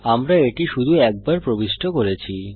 আমরা এটি শুধু একবার প্রবিষ্ট করেছি